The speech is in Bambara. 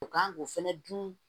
U kan k'o fɛnɛ dun